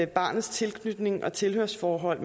barnets tilknytning og tilhørsforhold